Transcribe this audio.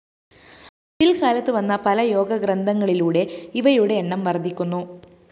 പില്‍ക്കാലത്ത് വന്ന പലയോഗ ഗ്രന്ഥങ്ങളിലൂടെ ഇവയുടെ എണ്ണം വര്‍ദ്ധിക്കുന്നു